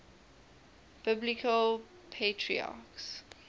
biblical patriarchs